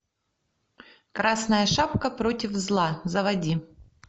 красная шапка против зла заводи